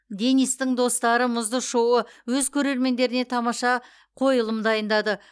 денистің достары мұзды шоуы өз көрермендеріне тамаша қойылым дайындады